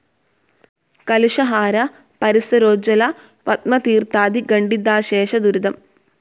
കലുഷഹാര പരിസരോജ്ജ്വല പത്മതീർത്ഥാധി ഖണ്ഡിതാശേഷ ദുരിതം.